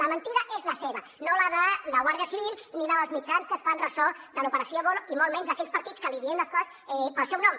la mentida és la seva no la de la guàrdia civil ni la dels mitjans que es fan ressò de l’operació voloh i molt menys d’aquells partits que li diem les coses pel seu nom